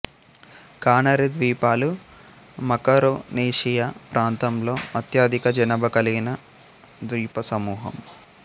canary ద్వీపాలు Macaronesia ప్రాంతంలో అత్యధిక జనాభా కలిగిన ద్వీపసమూహం